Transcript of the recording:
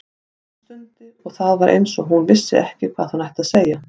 Hún stundi og það var eins og hún vissi ekki hvað hún ætti að segja.